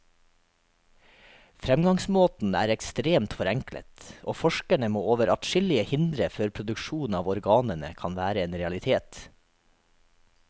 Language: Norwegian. Fremgangsmåten er ekstremt forenklet, og forskerne må over adskillige hindre før produksjon av organene kan være en realitet.